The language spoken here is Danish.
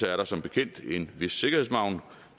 er der som bekendt en vis sikkerhedsmargen